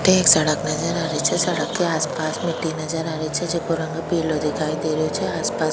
अठे एक सड़क नजर आ री छे सड़क के आस पास मिट्टी नजर आ री छे जेको रंग पिलो दिखाई दे रो छे आस पास --